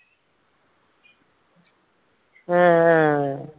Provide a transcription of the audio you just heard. ആഹ്